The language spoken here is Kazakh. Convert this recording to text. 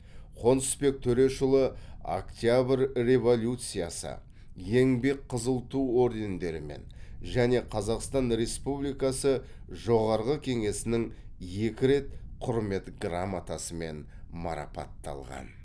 қонысбек төрешұлы октябрь революциясы еңбек қызыл ту ордендерімен және қазақстан республикасы жоғарғы кеңесінің екі рет құрмет грамотасымен марапатталған